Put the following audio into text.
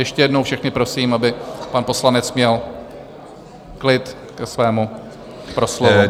Ještě jednou všechny prosím, aby pan poslanec měl klid ke svému proslovu.